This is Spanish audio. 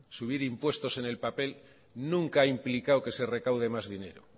subir impuestos en el papel nunca ha implicado que se recaude más dinero